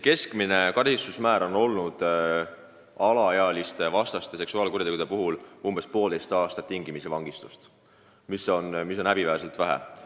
Keskmine karistusmäär on alaealiste vastu toime pandud seksuaalkuritegude puhul umbes poolteist aastat tingimisi vangistust, mis on häbiväärselt lühike aeg.